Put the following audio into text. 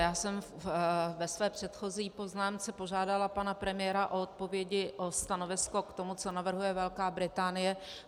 Já jsem ve své předchozí poznámce požádala pana premiéra o odpovědi, o stanovisko k tomu, co navrhuje Velká Británie.